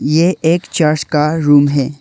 ये एक चर्च का रूम है।